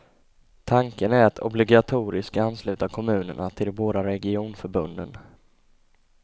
Tanken är att obligatoriskt ansluta kommunerna till de båda regionförbunden.